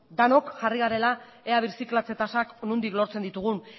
denok jarri gara ea birziklatze tasak nondik lortzen ditugun